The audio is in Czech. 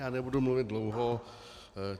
Já nebudu mluvit dlouho.